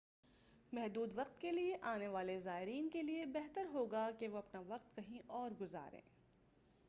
محدود وقت کے لیے آنے والے زائرین کے لیے بہتر ہوگا کہ وہ اپنا وقت کہیں اور گزاریں